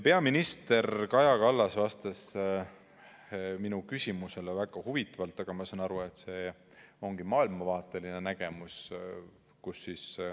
Peaminister Kaja Kallas vastas minu küsimusele väga huvitavalt, aga ma saan aru, et see ongi maailmavaateline nägemus.